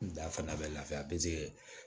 N da fana bɛ lafiya pezeli